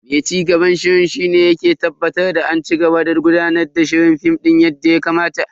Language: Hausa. Mai cigaban shiri shi ne yake tabbatar da an cigaba da gudanar da shirin Film yadda ya kamata.